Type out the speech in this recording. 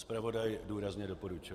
Zpravodaj důrazně doporučuje.